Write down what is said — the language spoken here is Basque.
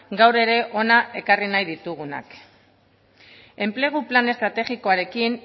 gaur ere hona ekarri nahi ditugunak enplegu plan estrategikoarekin